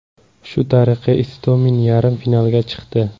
Shu tariqa Istomin yarim finalga chiqdi.